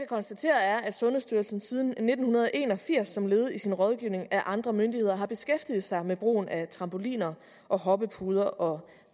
konstatere er at sundhedsstyrelsen siden nitten en og firs som led i sin rådgivning af andre myndigheder har beskæftiget sig med brugen af trampoliner og hoppepuder og